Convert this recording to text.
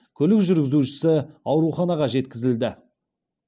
көлік жүргізушісі ауруханаға жеткізілді